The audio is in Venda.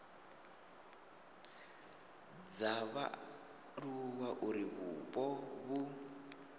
dza vhaaluwa uri vhupo vhu